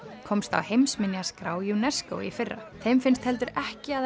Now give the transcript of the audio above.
komst á heimsminjaskrá UNESCO í fyrra þeim finnst heldur ekki að